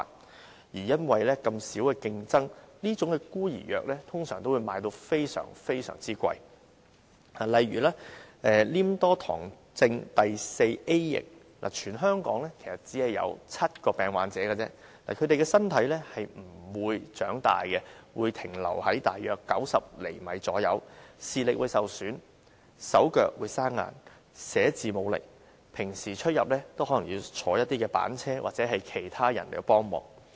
同時，由於競爭小，這些"孤兒藥"的售價通常都十分高昂，例如黏多醣症第四 A 型，全香港只有7名病患者，他們的身體不會長大，只停留在大約90厘米，視力受損，手腳生硬，寫字無力，平常出入可能也要使用滑板車或依靠其他人幫忙。